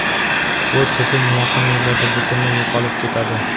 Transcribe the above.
bu tizim yaqin yillarda butunlay yo‘qolib ketadi.